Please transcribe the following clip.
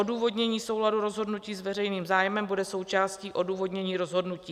Odůvodnění souladu rozhodnutí s veřejným zájmem bude součástí odůvodnění rozhodnutí.